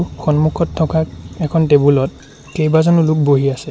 সন্মুখত থকা এখন টেবুল ত কেইবাজনো লোক বহি আছে।